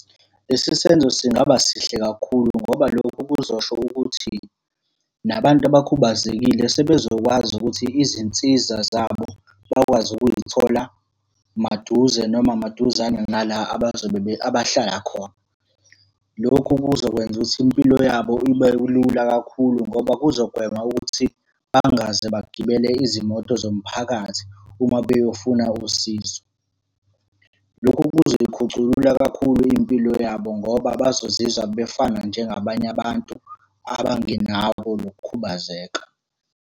Lesi senzo singaba sihle kakhulu ngoba lokho kuzosho ukuthi, nabantu abakhubazekile sebezokwazi ukuthi izinsiza zabo bakwazi ukuyithola maduze noma maduzane nala abazobe abahlala khona. Lokhu kuzokwenza ukuthi impilo yabo ibe lula kakhulu ngoba kuzogwema ukuthi bangaze bagibele izimoto zomphakathi uma beyofuna usizo. Lokhu kuzoyikhuculula kakhulu impilo yabo ngoba bazozizwa befana njengabanye abantu abangenakho lokhu khubazeka.